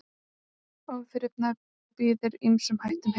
Óþrifnaður býður ýmsum hættum heim.